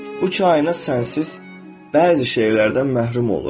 Bu kainat sənsiz bəzi şeylərdən məhrum olur.